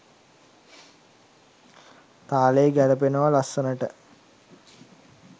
තාලේ ගැලපෙනව ලස්සනට.